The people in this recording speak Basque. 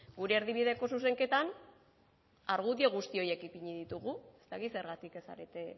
gure erdibideko zuzenketan argudio guzti horiek ipini ditugu ez dakit zergatik ez zarete